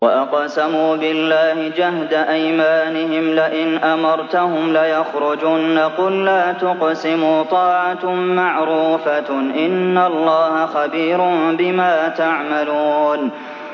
۞ وَأَقْسَمُوا بِاللَّهِ جَهْدَ أَيْمَانِهِمْ لَئِنْ أَمَرْتَهُمْ لَيَخْرُجُنَّ ۖ قُل لَّا تُقْسِمُوا ۖ طَاعَةٌ مَّعْرُوفَةٌ ۚ إِنَّ اللَّهَ خَبِيرٌ بِمَا تَعْمَلُونَ